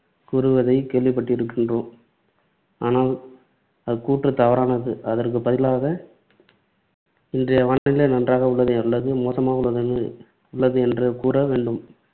கூறுவதைக் கேள்விப்பட்டிருக்கின்றோம். ஆனால் அக்கூற்று தவறானது. அதற்கு பதிலாக இன்றைய வானிலை நன்றாக உள்ளது அல்லது மோசமாக உள்ளது உள்ளது என்று கூற வேண்டும்.